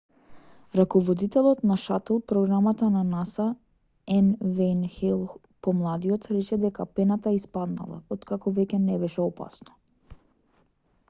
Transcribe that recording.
раководителот на шатл програмата на наса н вејн хејл помладиот рече дека пената испаднала откако веќе не беше опасно